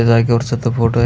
त्या जागेवरच तो फोटोय --